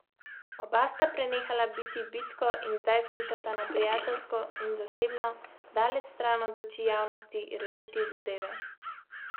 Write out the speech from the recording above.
Oba sta prenehala biti bitko in zdaj skušata na prijateljsko in zasebno, daleč stran od oči javnosti, rešiti zadeve.